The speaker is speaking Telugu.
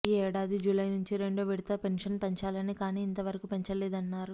ఈ ఏడాది జూలై నుంచి రెండో విడత పెన్షన్ పెంచాలని కానీ ఇంతవరకు పెంచలేదన్నారు